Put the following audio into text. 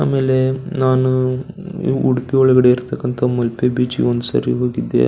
ಆಮೇಲೆ ನಾನು ಉಡುಪಿ ಒಳಗಡೆ ಇರತ್ತಕಂತ ಮಲ್ಪೆ ಬೀಚಿ ಗೆ ಒಂದ ಸಾರಿ ಹೋಗಿದ್ದೆ.